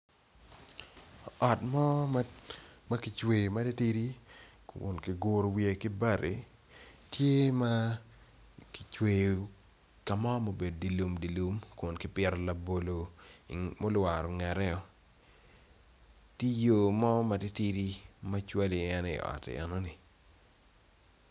Ot mo makicweyo mere tidi giguru wiye gibati kima kicweyo kamo ma obedo dilumdilum kun kipito labolo ma olwaro ngete i ye tiyo mo matitidi macwali en iot enoni.